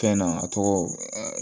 Fɛn na a tɔgɔ